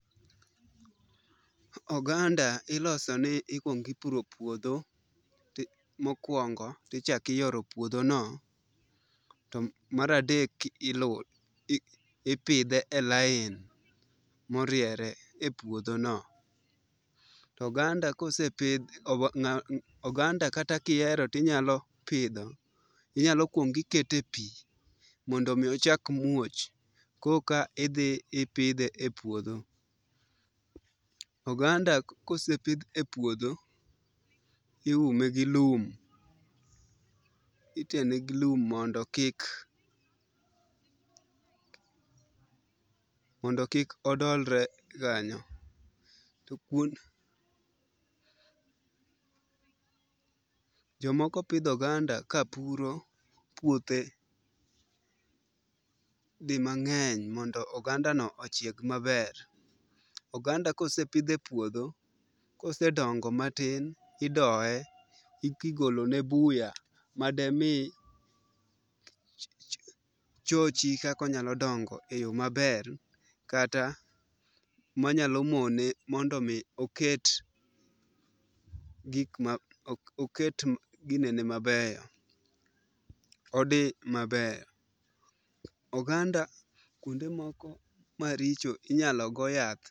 Oganda iloso ni ikuongo ipuro puodho mokuongo, to ichako iyoro puodhono to mar adek ipidhe e lain moriere e puodho no. To oganda ka osepidh oganda kata kihero to inyalo pidho inyalo kuongo iketo e pi mondo mi ochak muoch koka idhi ipiidhe e puodho. Oganda ka osepidh e puodho iume gi lum ithene gi lum mondo kik mondo kik odolre kanyo to jomoko pidho oganda ka puro puothe dimang'eny mondo ogandano ochieg maber. Oganda ka osepidh e puodho, kose dongo matin, idoye, igolone buya, mademi chochi kaka onyalo dongo eyo maber kata manyalo mone mondo mi oket gik ma oket ginene mabeyo odhi maber. Oganda kuonde moko ma richo inyalo go yath.